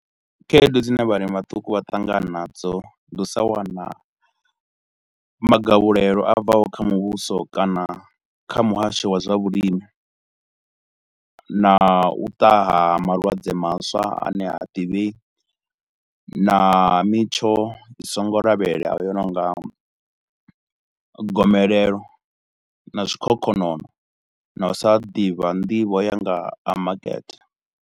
Khaedu dzine vhalimi vhaṱuku vha ṱangana nadzo, ndi u sa wana magavhulelo a bvaho kha muvhuso kana kha muhasho wa zwa vhulimi na u ṱaha ha malwadze maswa a ne ha ḓivhei na mitsho i songo lavhelelwaho i no nga gomelelo na zwikhokhonono na u sa ḓivha nḓivho ya nga ha makete.